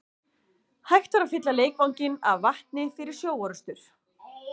Hægt var að fylla leikvanginn af vatni fyrir sjóorrustur.